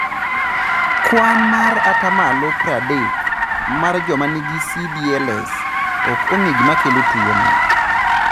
E kwan mar 30% mar joma nigi CdLS, ok ong'e gima kelo tuwono.